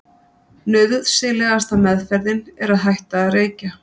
Nauðsynlegasta meðferðin er að hætta að reykja.